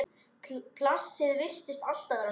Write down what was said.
Plássið virtist alltaf vera nóg.